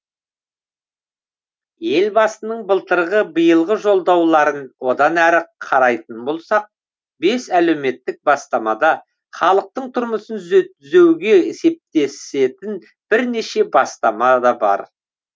елбасының былтырғы биылғы жолдауларын одан әрі қарайтын болсақ бес әлеуметтік бастамада халықтың тұрмысын түзеуге септесетін бірнеше бастама да бар